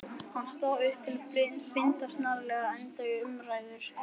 Hann stóð upp til að binda snarlega enda á umræðurnar.